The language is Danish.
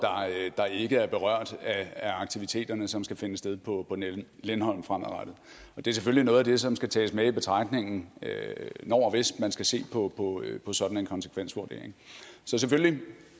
der ikke er berørt af aktiviteterne som skal finde sted på lindholm fremadrettet og det er selvfølgelig noget af det som skal tages med i betragtning når og hvis man skal se på sådan en konsekvensvurdering så selvfølgelig